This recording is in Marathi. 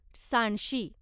सांडशी